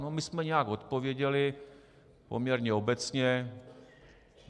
No, my jsme nějak odpověděli, poměrně obecně.